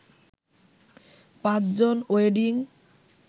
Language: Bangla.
৫ জন ওয়েডিং